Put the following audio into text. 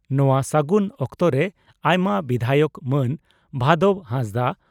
ᱱᱚᱣᱟ ᱥᱟᱹᱜᱩᱱ ᱚᱠᱛᱚᱨᱮ ᱟᱭᱢᱟ ᱵᱤᱫᱷᱟᱭᱚᱠ ᱢᱟᱱ ᱵᱷᱟᱫᱚᱵᱽ ᱦᱟᱸᱥᱫᱟᱜ